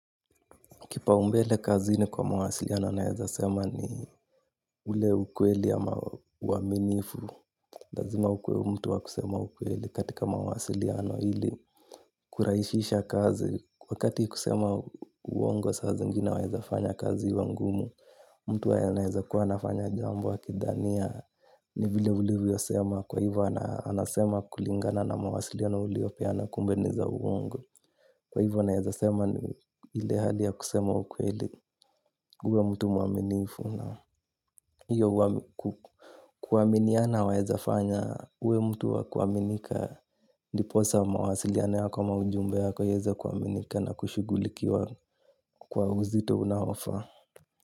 Kipao ulmbele kazini kwa mawasiliano na naeza sema ni ule ukweli ama uaminifu. Lazima ukuwe mtu wa kusema ukweli katika mawasiliano ili. Kurahishisha kazi. Wakati kusema uongo saa zingine waweza fanya kazi iwe ngumu. Mtu anaweza kuwa kuwa anafanya jambo akidhania ni vile ulivyosema. Kwa hivyo anasema kulingana na mawasiliano uliopeana kumbe ni za uongo. Kwa hivyo naeza sema ni ile hali ya kusema ukweli. Uwe mtu mwaminifu na iyo kuaminiana waeza fanya. Uwe mtu wa kuaminika. Ndiposa mawasiliano yako ama ujumbe yako iweze kuaminika na kushugulikiwa kwa uzito unaofaa.